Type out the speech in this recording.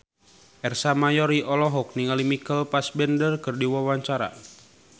Ersa Mayori olohok ningali Michael Fassbender keur diwawancara